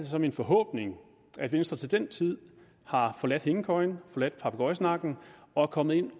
så min forhåbning at venstre til den tid har forladt hængekøjen forladt papegøjesnakken og er kommet ind